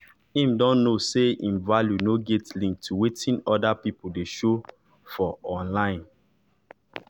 im don know say im value nor get link to wetin orda pipo dey show for online